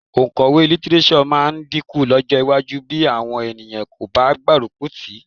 Òǹkọ̀wé lítíréṣọ̀ máa dínkù lọ́jọ́ iwájú bí àwọn ènìyàn kò bá gbárùkù tì í